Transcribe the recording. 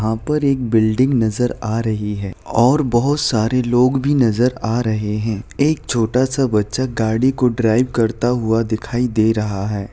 यहाँ पर एक बिल्डिंग नजर आ रही है और बहुत सारे लोग भी नजर आ रहे हैं। एक छोटा सा बच्चा गाड़ी को ड्राइव करता हुआ दिखाई दे रहा है।